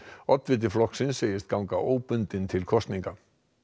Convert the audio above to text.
oddviti flokksins segist ganga óbundinn til kosninga